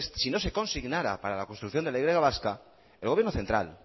si no se consignara para la construcción de la y vasca el gobierno central